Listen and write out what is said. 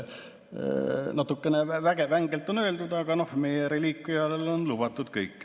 Natukene vängelt on öeldud, aga meie reliikviale on lubatud kõik.